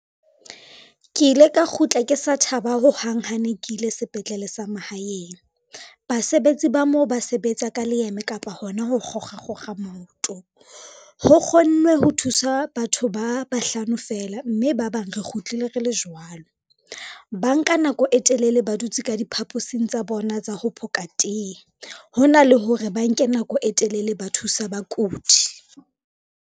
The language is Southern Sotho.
Ke ile ka kgutla ke sa thaba ho hang hane ke ile sepetlele sa mahaeng. Basebetsi ba moo ba sebetsa ka leeme kapa hona ho kgokga kgokga maoto. Ho kgonnwe ho thusa batho ba a bahlano feela, mme ba bang re kgutlile re le jwalo. Ba nka nako e telele ba dutse ka diphaposing tsa bona tsa ho phokang teye, ho na le hore ba nke nako e telele ba thusa bakudi.